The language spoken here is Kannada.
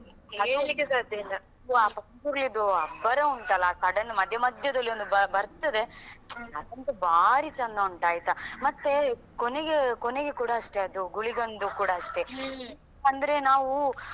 ಹೇಳ್ಲಿಕೆ ಸಾಧ್ಯವಿಲ್ಲ. ವಾ ಕರಿಯುದು ಅಬ್ಬರಾ ಉಂಟಲ್ಲಾ ಆ sudden ಮಧ್ಯ ಮಧ್ಯದಲ್ಲಿ ಒಂದು ಬರ್ತದೆ, ಅದಂತೂ ಬಾರಿ ಚಂದ ಉಂಟಾಯಿತಾ ಮತ್ತೆ ಕೊನೆಗೆ ಕೊನೆಗೆ ಕೂಡ ಅಷ್ಟೆ ಅದು ಗುಳಿಗಂದು ಕೂಡ ಅಷ್ಟೆ. ಅಂದ್ರೆ.